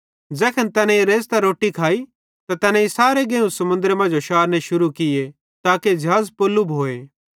ज़ैखन तैनेईं रेज़तां रोट्टी खाइ त तैनेईं सारे गेहुं समुन्द्रे मांजो शारने शुरू किये ताके ज़िहाज़ पोल्लु भोए